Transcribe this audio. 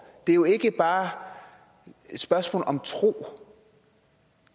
det er jo ikke bare et spørgsmål om tro